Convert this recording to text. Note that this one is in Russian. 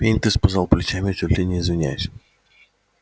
пониетс пожал плечами чуть ли не извиняясь